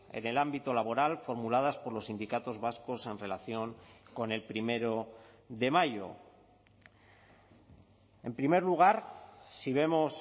en el ámbito laboral formuladas por los sindicatos vascos en relación con el primero de mayo en primer lugar si vemos